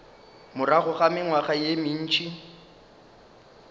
morago ga mengwaga ye mentši